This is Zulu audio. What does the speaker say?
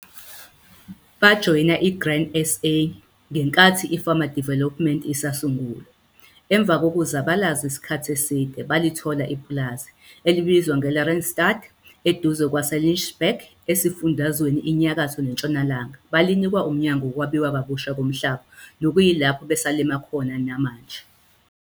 Bajoyina iGrain SA ngenkathi i-Farmer Development isasungulwa. Emva kokuzabalaza isikhathi eside balithola ipulazi, elibizwa nge-Lareystryd, eduze kwaseLichtenburg esiFundazweni iNyakatho neNtshonalanga balinikwa uMnyango woKwabiwa kaBusha koMhlaba nokuyilapho besalima khona namanje.